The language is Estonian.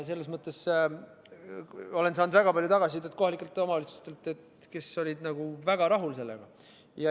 Selles mõttes olen saanud väga palju tagasisidet kohalikelt omavalitsustelt, kes olid väga rahul sellega.